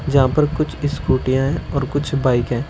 जहां पर कुछ स्कूटीयां और कुछ बाइक हैं।